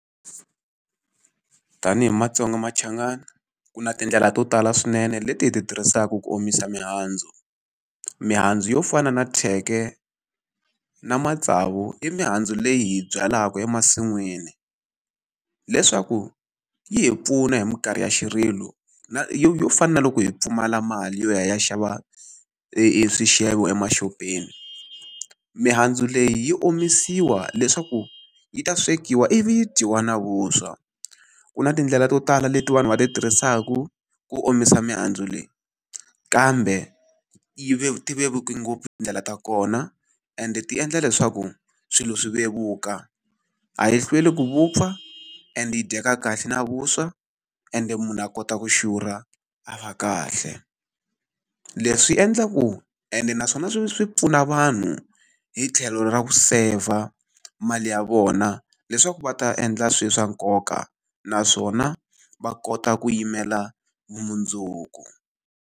Tanihi matsonga machangani, ku na tindlela to tala swinene leti hi ti tirhisaka ku omisa mihandzu. Mihandzu yo fana na thyeke, na matsavu, i mihandzu leyi hi yi byalaka emasin'wini leswaku yi hi pfuna hi minkarhi ya xirilo, yo yo fana na loko hi pfumala mali yo ya hi ya xava e eswixevo emaxopeni. Mihandzu leyi yi omisiwa leswaku yi ta swekiwa ivi yi dyiwa na vuswa. Ku na tindlela to tala leti vanhu va ti tirhisaka ku omisa mihandzu leyi, kambe yi ti vevuke ngopfu tindlela ta kona ende ti endla leswaku swilo swi vevuka. A yi hlweli ku vupfa, and yi dyeka kahle na vuswa, ende munhu a kota ku xurha, a va kahle. Leswi endlaku ene naswona swi swi pfuna vanhu hi tlhelo ra ku seyivha mali ya vona leswaku va ta endla swilo swa nkoka naswona va kota ku yimela vumundzuku.